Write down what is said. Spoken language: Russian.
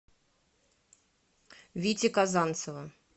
вити казанцева